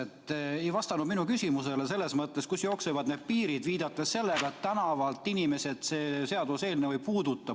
Te ei vastanud minu küsimusele, et kust jooksevad need piirid, viidates sellele, et inimesi tänavalt see seaduseelnõu ei puuduta.